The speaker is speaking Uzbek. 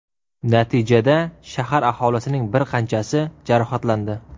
Natijada shahar aholisining bir qanchasi jarohatlandi.